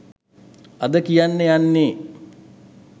අද කියන්න යන්නෙ.